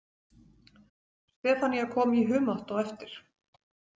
Stefanía kom í humátt á eftir.